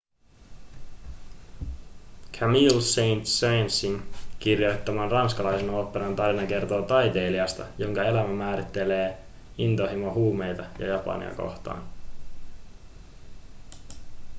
camille saint-saënsin kirjoittaman ranskalaisen oopperan tarina kertoo taiteilijasta jonka elämää määrittelee intohimo huumeita ja japania kohtaan